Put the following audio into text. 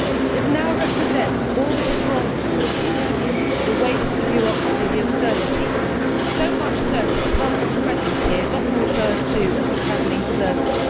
It now represents all that is wrong with the European Union the waste, the bureaucracy, the absurdity so much so that Parliament's presence here is often referred to as a travelling circus'.